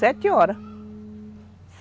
Sete horas.